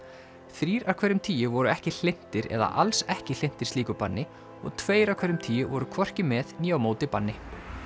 þrír af hverjum tíu voru ekki hlynntir eða alls ekki hlynntir slíku banni og tveir af hverjum tíu voru hvorki með né á móti banni